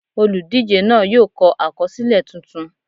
Olùdíje náà yóò kọ àkọsílẹ̀ tuntun.